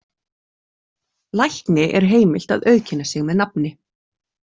Lækni er heimilt að auðkenna sig með nafni.